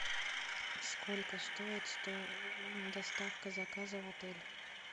сколько стоит доставка заказа в отель